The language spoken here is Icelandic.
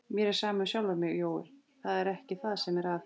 Mér er sama um sjálfa mig, Jói, það er ekki það sem er að.